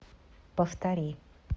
повтори